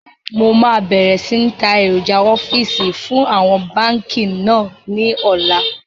Mo máa bẹ̀rẹ̀ sini ta èròjà ọ́fíìsì fún àwọn báńkì náà ni ọ̀la